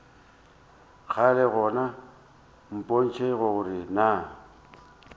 kgale gona mpotše gore na